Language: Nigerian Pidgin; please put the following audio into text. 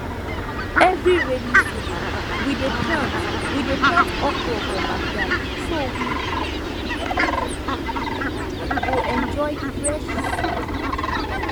every rainy season we dey plant we dey plant okra for backyard so we go enjoy fresh soup